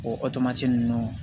O ninnu